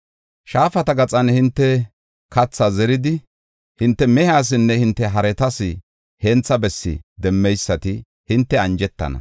shaafata gaxan hinte kathaa zeridi, hinte mehiyasinne hinte haretas hentha bessi demmeysati hinte anjetana.